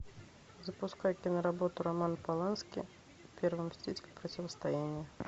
запускай киноработу романа полански первый мститель противостояние